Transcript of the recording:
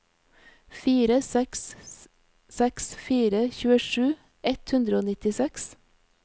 fire seks seks fire tjuesju ett hundre og nittiseks